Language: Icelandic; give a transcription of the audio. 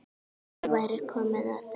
Nú væri komið að þeim.